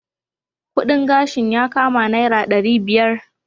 Kudin gashin yakama naira dari biyar.